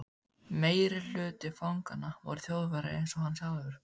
Meirihluti fanganna voru Þjóðverjar einsog hann sjálfur.